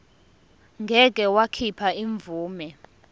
ngeke wakhipha imvume